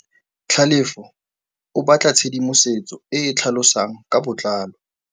Tlhalefô o batla tshedimosetsô e e tlhalosang ka botlalô.